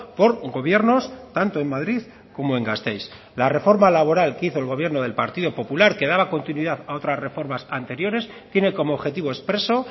por gobiernos tanto en madrid como en gasteiz la reforma laboral que hizo el gobierno del partido popular que daba continuidad a otras reformas anteriores tiene como objetivo expreso